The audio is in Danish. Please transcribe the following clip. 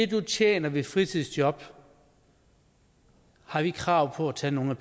du tjener ved et fritidsjob har vi krav på at tage nogle